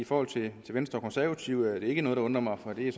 forhold til venstre og konservative er det ikke noget der undrer mig for det er